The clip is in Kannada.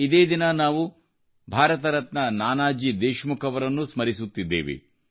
ಇದೇ ದಿನ ನಾವು ಭಾರತರತ್ನ ನಾನಾಜಿ ದೇಶಮುಖ್ ಅವರನ್ನೂ ಸ್ಮರಿಸುತ್ತಿದ್ದೇವೆ